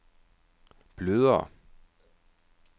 blødere